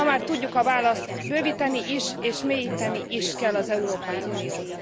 Ma már tudjuk a választ bővíteni is és mélyíteni is kell az Európai Uniót.